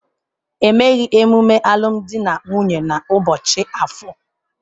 Emeghị emume alụmdi na nwunye n'ụbọchị Afor.